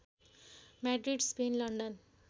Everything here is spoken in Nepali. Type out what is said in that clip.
Madrid Spain London